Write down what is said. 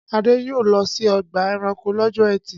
Adé yóò lọ sí ọgbà-ẹranko lọ́jọ́ ẹtì.